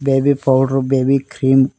baby powder baby cream --